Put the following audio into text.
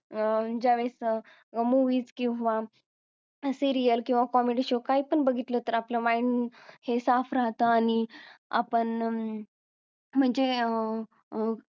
ज्या वेळेस अं किंवा सिरीयल किंवा comedy show काय पण बघितलं तर आपलं mind हे साफ राहत आणि आपण म्हणजे अं